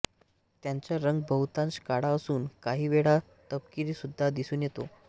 याचा रंग बहुतांश काळा असून काही वेळा तपकिरी सुद्धा दिसून येतो